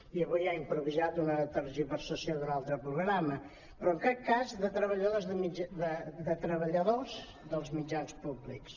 i avui ha improvisat una tergiversació d’un altre programa però en cap cas de treballadors dels mitjans públics